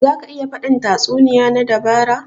Za ka iya faɗin tatsuniya na dabara?